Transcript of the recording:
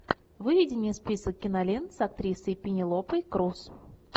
выведи мне список кинолент с актрисой пенелопой крус